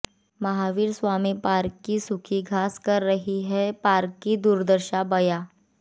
Mahavir Swami park की सूखी घास कर रही है पार्क की दुर्दशा बयां